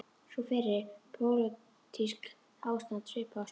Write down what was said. Sú fyrri: pólitískt ástand svipað og á Spáni.